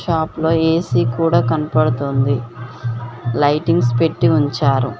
షాప్లో ఏ_సీ కూడా కనపడుతోంది. లైటింగ్స్ పెట్టి ఉంచారు.